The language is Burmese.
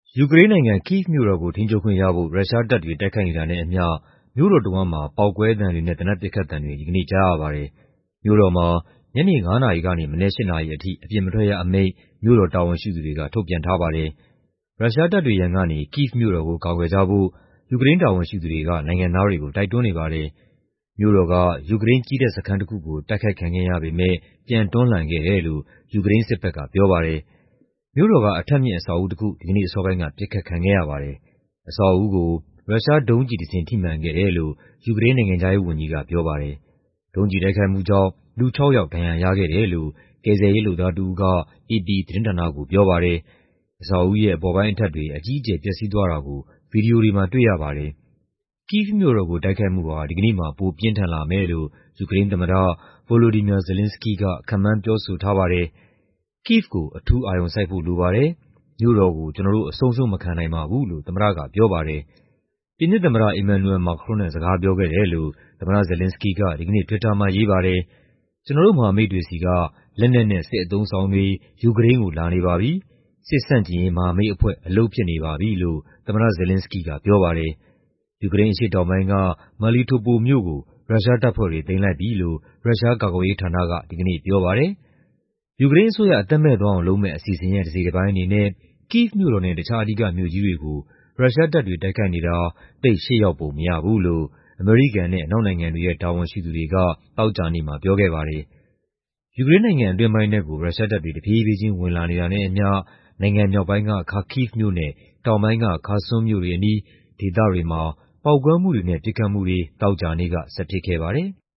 ယူကရိန်းနိုင်ငံ၊ ကိဗ်မြို့တော်ကို ထိန်းချုပ်ခွင့်ရဖို့ ရုရှားတပ်တွေ တိုက်ခိုက်နေတာနဲ့အမျှ မြို့တော်တဝန်းမှာ ပေါက်ကွဲသံတွေနဲ့ သေနတ်ပစ်ခတ်သံတွေ ဒီကနေ့ ကြားရပါတယ်။ မြို့တော်မှာ ညနေ ၅ နာရီကနေ မနက် ၈ နာရီအထိ အပြင်မထွက်ရအမိန့် မြို့တော်တာဝန်ရှိသူတွေက ထုတ်ပြန်ထားပါတယ်။ ရုရှားတပ်တွေရန်ကနေ ကိဗ်မြို့တော်ကို ကာကွယ်ကြဖို့ ယူကရိန်း တာဝန်ရှိသူတွေက နိုင်ငံသားတွေကို တိုက်တွန်းနေပါတယ်။ မြို့တော်က ယူကရိန်း ကြည်းတပ်စခန်းတခုကို တိုက်ခိုက်ခံခဲ့ရပေမယ့် ပြန်တွန်းလှန်ခဲ့တယ်လို့ ယူကရိန်းစစ်ဘက်က ပြောပါတယ်။ မြို့တော်က အထပ်မြင့် အဆောက်အဦးတခု ဒီကနေ့အစောပိုင်းက ပစ်ခတ်ခံခဲ့ရပါတယ်။ အဆောက်အဦးကို ရုရှားဒုံးကျည်တစင်း ထိမှန်ခဲ့တယ်လို့ ယူကရိန်း နိုင်ငံခြားရေးဝန်ကြီးက ပြောပါတယ်။ ဒုံးကျည်တိုက်ခိုက်မှုကြောင့် လူခြောက်ယောက် ဒဏ်ရာရခဲ့တယ်လို့ ကယ်ဆယ်ရေးလုပ်သားတဦးက အေပီသတင်းဌာနကို ပြောပါတယ်။ အဆောက်အဦးရဲ့ အပေါ်ပိုင်းအထပ်တွေ အကြီးအကျယ် ပျက်စီးသွားတာကို ဗွီဒီယိုတွေမှာ တွေ့ရပါတယ်။ ကိဗ်မြို့တော်ကို တိုက်ခိုက်မှု ဒီကနေ့မှာ ပိုပြင်းထန်လာမယ်လို့ ယူကရိန်းသမ္မတ Volodymyr Zelenskyy က ခန့်မှန်းပြောဆိုထားပါတယ်။ "ကိဗ်ကို အထူးအာရုံစိုက်ဖို့ လိုပါတယ်၊ မြို့တော်ကို ကျနော်တို့ အဆုံးရှုံးမခံနိုင်ပါဘူး" လို့ သမ္မတက ပြောပါတယ်။ ပြင်သစ်သမ္မတ Emmanuel Macron နဲ့ စကားပြောခဲ့တယ်လို့ သမ္မတ Zelenskyy က ဒီကနေ့ Twitter မှာ ရေးပါတယ်။ "ကျနော်တို့ မဟာမိတ်တွေဆီက လက်နက်နဲ့ စစ်အသုံးအဆောင်တွေ ယူကရိန်းကို လာနေပါပြီ။ စစ်ဆန့်ကျင်ရေး မဟာမိတ်အဖွဲ့ အလုပ်ဖြစ်နေပါပြီ" လို့ သမ္မတ Zelenskyy က ပြောပါတယ်။ ယူကရိန်းအရှေ့တောင်ပိုင်းက Melitopol မြို့ကို ရုရှားတပ်ဖွဲ့တွေ သိမ်းလိုက်ပြီလို့ ရုရှားကာကွယ်ရေးဌာနက ဒီကနေ့ ပြောပါတယ်။ ယူကရိန်းအစိုးရ အသက်မဲ့သွားအောင်လုပ်မယ့် အစီအစဉ်ရဲ့ တစိတ်တပိုင်းအနေနဲ့ ကိဗ်မြို့တော်နဲ့ တခြား အဓိကမြို့ကြီးတွေကို ရုရှားတပ်တွေ တိုက်ခိုက်နေတာ သိပ်ရှေ့ရောက်ပုံမရဘူးလို့ အမေရိကန်နဲ့ အနောက်နိုင်ငံတွေရဲ့ တာဝန်ရှိသူတွေက သောကြာနေ့မှာ ပြောခဲ့ပါတယ်။ ယူကရိန်းနိုင်ငံ အတွင်းပိုင်းထဲကို ရုရှားတပ်တွေ တဖြည်းဖြည်းချင်း ဝင်လာနေတာနဲ့အမျှ နိုင်ငံမြောက်ပိုင်းက Kharkiv မြို့နဲ့ တောင်ပိုင်းက Kherson မြို့တွေအနီး ဒေသတွေမှာ ပေါက်ကွဲမှုတွေနဲ့ ပစ်ခတ်မှုတွေ သောကြာနေ့က ဆက်ဖြစ်ခဲ့ပါတယ်။